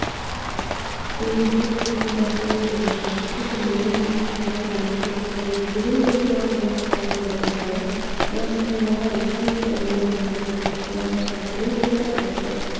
энергетиканың дәстүрлі және тұрақты түрлерін қатар дамыту қажет бүгін бұл туралы осы саланың мамандары қалашығындағы ресей павильонында өткен халықаралық конференцияда айтты